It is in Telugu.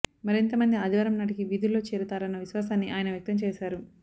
మరింత మంది ఆదివారం నాటికి విధుల్లో చేరతారన్న విశ్వాసాన్ని ఆయన వ్యక్తం చేశారు